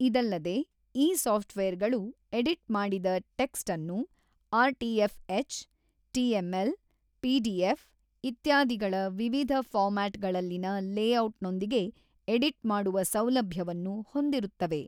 ಇದಲ್ಲದೆ ಈ software ಗಳು ಎಡಿಟ್ ಮಾಡಿದ ಟೆಕ್ಸ್ಟ್ ಅನ್ನು RTF HTML, PDF, ಇತ್ಯಾದಿಗಳ ವಿವಿಧ ಫಾರ್ಮ್ಯಾಟ್ ಗಳಲ್ಲಿನ ಲೆಔಟ್ ನೊಂದಿಗೆ ಎಡಿಟ್ ಮಾಡುವ ಸೌಲಭ್ಯವನ್ನು ಹೊಂದಿರುತ್ತವೆ.